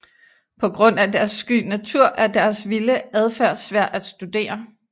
På grund af deres sky natur er deres vilde adfærd svær at studere